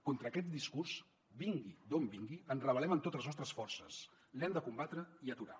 contra aquest discurs vingui d’on vingui ens rebel·lem amb totes les nostres forces l’hem de combatre i aturar